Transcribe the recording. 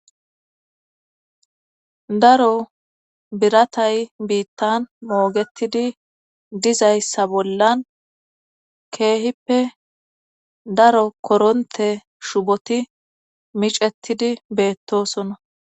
Daro biratay biittan moogettidi dizayssa bollan keehippe daro korontte shuboti micattidi beettoosona.